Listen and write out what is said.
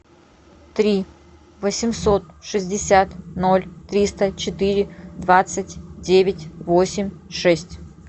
три восемьсот шестьдесят ноль триста четыре двадцать девять восемь шесть